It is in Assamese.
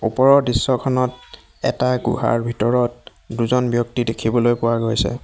ওপৰৰ দৃশ্যখনত এটা গুহাৰ ভিতৰত দুজন ব্যক্তি দেখিবলৈ পোৱা গৈছে।